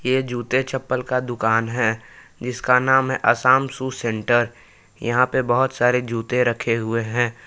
ये जूते चप्पल का दुकान है जिसका नाम है आसाम शू सेंटर यहां पे बहुत सारे जूते रखे हुए हैं।